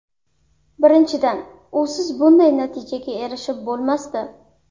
Birinchidan, usiz bunday natijaga erishib bo‘lmasdi.